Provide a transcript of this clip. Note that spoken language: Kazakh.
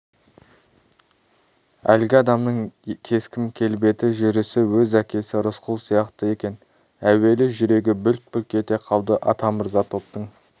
әлгі адамның кескін-келбеті жүрісі өз әкесі рысқұл сияқты екен әуелі жүрегі бүлк-бүлк ете қалды атамырза топтың